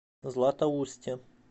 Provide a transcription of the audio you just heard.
златоусте